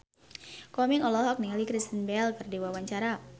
Komeng olohok ningali Kristen Bell keur diwawancara